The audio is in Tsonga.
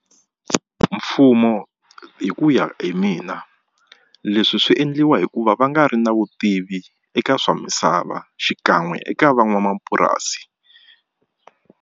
Mfumo hi ku ya hi mina leswi swi endliwa hikuva va nga ri na vutivi eka swa misava xikan'we eka van'wamapurasi.